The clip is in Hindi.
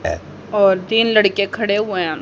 और तीन लड़के खड़े हुए हैं।